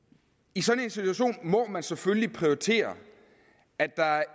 i sådan en situation må man selvfølgelig prioritere at der